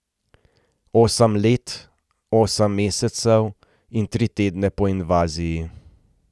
Osem let, osem mesecev in tri tedne po invaziji.